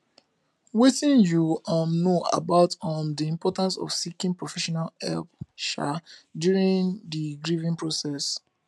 wetin you um know about um di importance of seeking professional help um during di grieving process